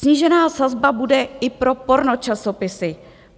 Snížená sazba bude i pro pornočasopisy.